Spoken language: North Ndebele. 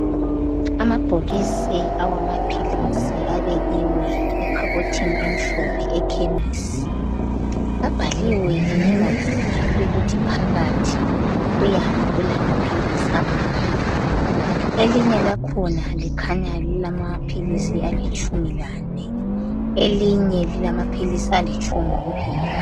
Amabhokisi awamaphilisi abekiwe ekhabothini emhlophe ekhemisi abhaliwe linye ngalinye ukuthi phakathi kuyabe kulamaphilisi amangaki. Elinye lakhona likhanya lilamaphilisi alitshumi lane elinye lilamaphilisi alitshumi kuphela.